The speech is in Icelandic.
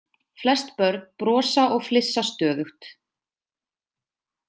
Flest börn brosa og flissa stöðugt.